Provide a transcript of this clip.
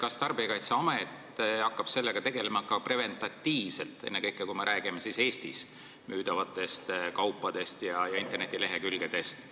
Kas Tarbijakaitseamet hakkab sellega tegelema ka preventiivselt, ennekõike, kui me räägime Eestis müüdavatest kaupadest ja räägime internetilehekülgedest,